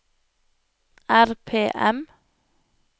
RPM